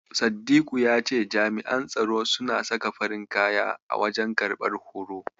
Saddiku ya ce jami'an tsaro suna saka farin kaya a wajen karɓar horo.